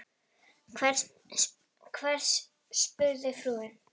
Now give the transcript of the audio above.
Hvern? spurði frúin.